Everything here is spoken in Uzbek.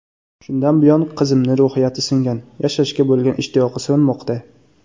Shundan buyon qizimni ruhiyati singan, yashashga bo‘lgan ishtiyoqi so‘nmoqda.